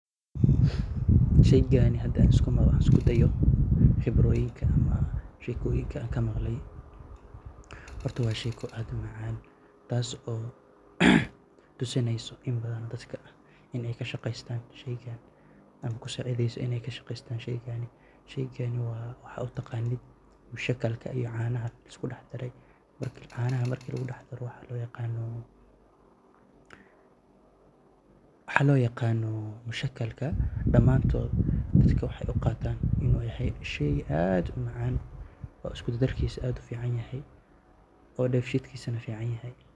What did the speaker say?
Sheygan hada isku daayo xibroyinka ama sheekoyinka an kamaqle horta waa sheko aad umacaan taas oo tusinayso imbadhan dadka inay kashaqestan sheyga ama kusacidhyso inay kasheqestan shaygan. Sheygan waa waxa utaqanit mashakalka iyo canaha iskudaxdare marka canaha marka laqudaxdaro waxa loo yaqano mashakalka damantoot dadka waxay uqatan inu yahay sheey aad umacan oo iskukudarkisa aad uficanihay oona sheetkisa ficanihay.